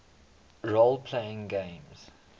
role playing games